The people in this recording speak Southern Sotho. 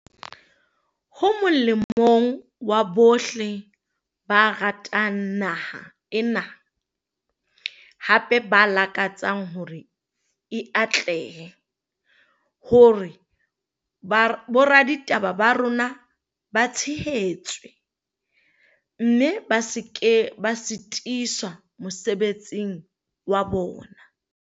Ho molemong wa bohle ba ratang naha ena, hape ba lakatsa hore e atlehe, hore boraditaba ba rona ba tshehetswe, mme ba se ke ba sitiswa mosebetsing wa bona.